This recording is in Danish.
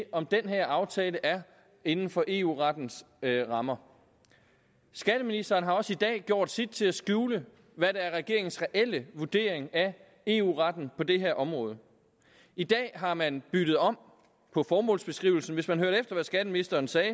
om den her aftale er inden for eu rettens rammer skatteministeren har også i dag gjort sit til at skjule hvad der er regeringens reelle vurdering af eu retten på det her område i dag har man byttet om på formålsbeskrivelsen hvis man hørte efter hvad skatteministeren sagde